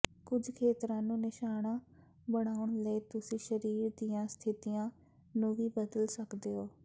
ਕੁਝ ਖੇਤਰਾਂ ਨੂੰ ਨਿਸ਼ਾਨਾ ਬਣਾਉਣ ਲਈ ਤੁਸੀਂ ਸਰੀਰ ਦੀਆਂ ਸਥਿਤੀਆਂ ਨੂੰ ਵੀ ਬਦਲ ਸਕਦੇ ਹੋ